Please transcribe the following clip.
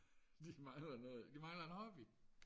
de mangler noget de mangler en hobby